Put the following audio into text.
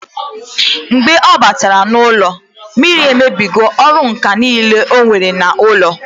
Mgbe ọ batara n'ụlọ, mmiri emebigo ọrụ ǹkà niile onwere n'ụlọ